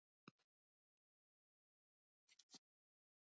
THEODÓRA: Þetta byrjaði allt þegar hann fór að sækja Sigurð skurð.